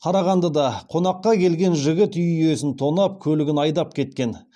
қарағандыда қонаққа келген жігіт үй иесін тонап көлігін айдап кеткен